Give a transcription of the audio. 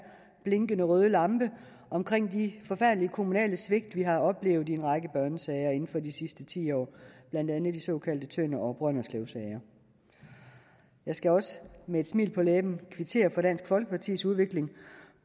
blinkende røde lampe omkring de forfærdelige kommunale svigt vi har oplevet i en række børnesager inden for de sidste ti år blandt andet de såkaldte tønder og brønderslevsager jeg skal også med et smil på læben kvittere for dansk folkepartis udvikling